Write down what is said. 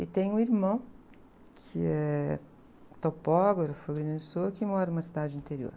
E tenho um irmão, que é topógrafo em Minnesota, e mora em uma cidade interior.